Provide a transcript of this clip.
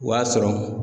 O y'a sɔrɔ